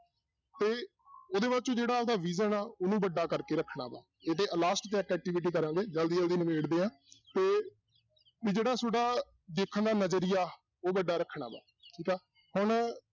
ਤੇ ਉਹਦੇ ਬਾਅਦ ਚੋਂ ਜਿਹੜਾ ਆਪਦਾ vision ਆ, ਉਹਨੂੰ ਵੱਡਾ ਕਰਕੇ ਰੱਖਣਾ ਵਾਂ last 'ਚ ਇੱਕ activity ਕਰਾਂਗਾ ਜ਼ਲਦੀ ਜ਼ਲਦੀ ਨਿਬੇੜਦੇ ਹਾਂ ਤੇ ਵੀ ਜਿਹੜਾ ਤੁਹਾਡਾ ਦੇਖਣ ਦਾ ਨਜ਼ਰੀਆ, ਉਹ ਵੱਡਾ ਰੱਖਣਾ ਵਾਂ ਠੀਕ ਆ, ਹੁਣ